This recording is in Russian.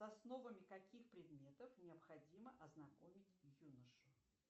основами каких предметов необходимо ознакомить юношу